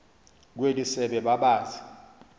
kweli sebe babazi